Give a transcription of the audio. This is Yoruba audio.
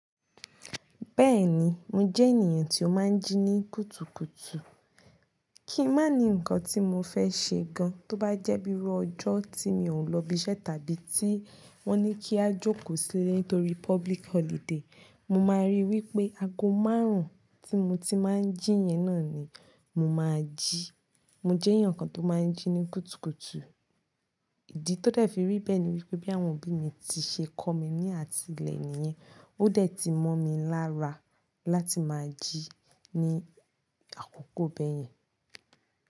Bẹ́ẹ̀ni, mo jẹ́ ènìyàn tí ó máa ń jí ní kùtùkùtù. Kí má ní nǹkan tí mo fẹ́ ṣe gan, tó bá jẹ́ bíi ró ọjọ́ tí mi ò lọ ibiṣẹ́ tàbí tí wọ́n ní kí a jókòó sílẹ̀ nítorí public holiday, mo máa ríi wí pé ago márùn-ún tí mo ti máa ń jí yẹn náà ni mo máa jí. Mo jẹ́ èèyàn kan tó máa ń jí ní kùtùkùtù. Ìdí tó dẹ̀ fi rí bẹ́ẹ̀ ni wípé bí àwọn òbí mi ti ṣe kọ́ mi ní àtìlẹ́ niyen, ó dẹ̀ ti mọ́ mi lára láti máa jí ní àkókò bẹ́ẹ̀.